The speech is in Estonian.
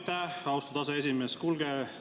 Aitäh, austatud aseesimees!